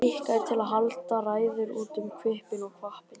Skikkaður til að halda ræður út um hvippinn og hvappinn.